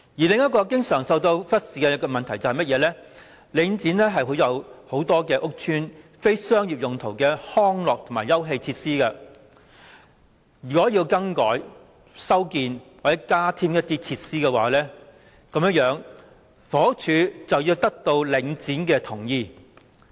另一個經常受到忽視的問題是，領展管有眾多屋邨非商業用途的康樂及休憩設施。如果要更改、修建或加添這些設施，房屋署便須得到領展的同意。